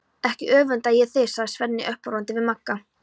Ekki öfunda ég þig, sagði Svenni uppörvandi við Magga.